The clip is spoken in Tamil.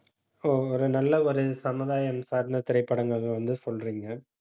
ஒரு நல்ல ஒரு சமுதாயம் சார்ந்த திரைப்படங்கள் வந்து சொல்றீங்க.